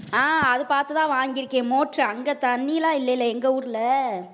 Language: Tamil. அஹ் அது பார்த்துதான் வாங்கி இருக்கேன் motor அங்க தண்ணிலாம் இல்லைல எங்க ஊர்ல.